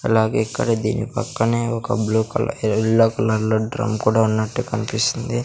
అలాగే ఇక్కడ దీని పక్కనే ఒక బ్లూ కల ఎల్లో కలర్లో డ్రం కూడా ఉన్నట్టు కన్పిస్తుంది.